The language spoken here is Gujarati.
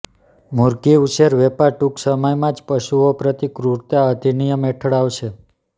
મુરઘી ઉછેર વેપાર ટૂંક સમયમાં જ પશુઓ પ્રતિ ક્રુરતા અધિનિયમ હેઠળ આવશે